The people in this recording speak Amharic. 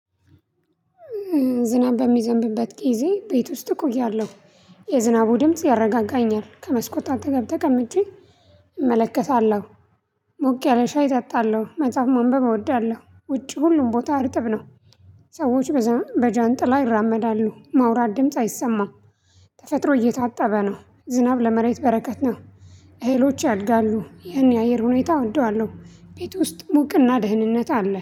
ዝናብ በሚዘንብበት ጊዜ ቤት ውስጥ እቆያለሁ። የዝናቡ ድምጽ ያረጋጋኛል ከመስኮት አጠገብ ተቀምጬ እመለከታለሁ። ሞቅ ያለ ሻይ እጠጣለሁ መጽሐፍ ማንበብ እወዳለሁ። ውጪ ሁሉም ቦታ አርጥብ ነው። ሰዎቹ በጃንጥላ ይራመዳሉ ማውራት ድምጽ አይሰማም። ተፈጥሮ እየታጠበ ነው። ዝናብ ለመሬት በረከት ነው። እህሎች ያድጋሉ ይሄንን የአየር ሁኔታ እወደዋለሁ። ቤት ውስጥ ሞቅና ደህንነት አለ